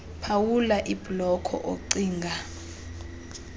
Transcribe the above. phawula ibhloko ocinga